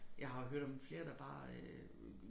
Jeg har hørt om flere der bare øh